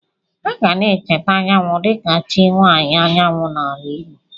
A ga na-echeta Anyanwụ dịka chi nwaanyị anyanwụ n'ala Igbo.